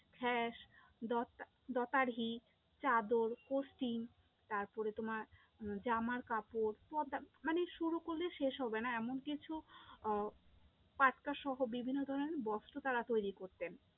হ্যাঁ দতারি, চাদর তারপরে তোমার উম জামার কাপড়, সব মানে শুরু করলে শেষ হবে না এমন কিছু আহ পাট্টা সহ বিভিন্ন ধরণের বস্ত্র তারা তৈরী করতেন।